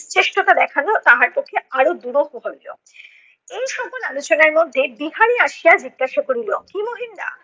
নিশ্চেষ্টতা দেখানো তাহার পক্ষে আরও দুরূহ হইলো। এই সকল আলোচনার মধ্যে বিহারী আসিয়া জিজ্ঞাসা করিল, কী মহিন দা